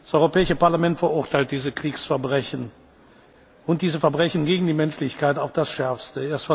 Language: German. Das Europäische Parlament verurteilt diese Kriegsverbrechen und diese Verbrechen gegen die Menschlichkeit auf das Schärfste.